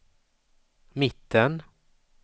mitten